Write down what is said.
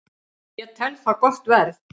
Ég tel það gott verð